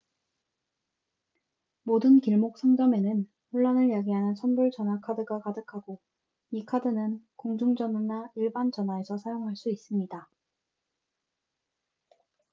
모든 길목 상점에는 혼란을 야기하는 선불 전화 카드가 가득하고 이 카드는 공중전화나 일반 전화에서 사용할 수 있습니다